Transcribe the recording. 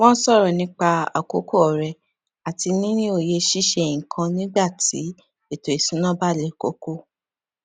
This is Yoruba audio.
wón sòrò nípa àkókò ọrẹ àti níni òye ṣíṣe nnkan nígbàtí ètò ìṣúnná bá le koko